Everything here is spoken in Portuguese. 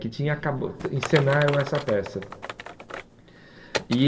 que tinha acaba encenaram essa peça. E